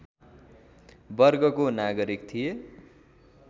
वर्गको नागरिक थिए